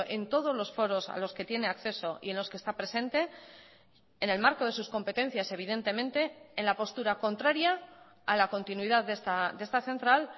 en todos los foros a los que tiene acceso y en los que está presente en el marco de sus competencias evidentemente en la postura contraria a la continuidad de esta central